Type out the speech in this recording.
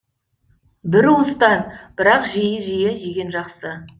бір уыстан бірақ жиі жиі жеген жақсы